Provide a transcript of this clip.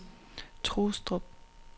Trustrup